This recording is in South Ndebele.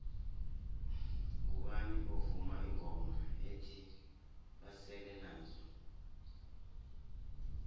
mgubani ovuma ingoma ethi basele nazo